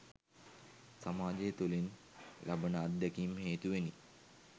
සමාජය තුළින් ලබන අත්දැකීම් හේතුවෙනි.